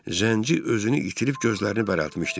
Zənci özünü itirib gözlərini bərəltmişdi.